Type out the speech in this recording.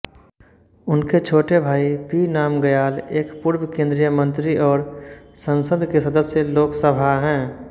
उनके छोटे भाई पी नामग्याल एक पूर्व केंद्रीय मंत्री और संसद के सदस्य लोकसभा हैं